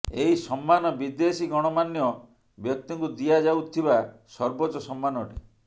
ଏହି ସମ୍ମାନ ବିଦେଶୀ ଗଣମାନ୍ୟ ବ୍ୟକ୍ତିଙ୍କୁ ଦିଆ ଯାଉଥିବା ସର୍ବୋଚ୍ଚ ସମ୍ମାନ ଅଟେ